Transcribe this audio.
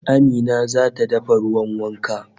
Amina zata dafa ruwan wankan